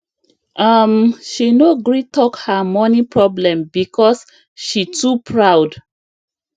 um she no gree talk her money problem because she too proud